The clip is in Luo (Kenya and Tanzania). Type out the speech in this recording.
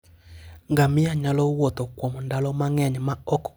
Ngamia nyalo wuotho kuom ndalo mang'eny maok omodho.